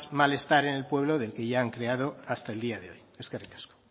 malestar en el pueblo del que ya han creado hasta el día de hoy eskerrik asko